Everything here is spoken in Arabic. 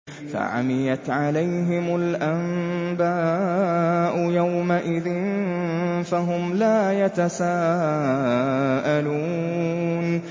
فَعَمِيَتْ عَلَيْهِمُ الْأَنبَاءُ يَوْمَئِذٍ فَهُمْ لَا يَتَسَاءَلُونَ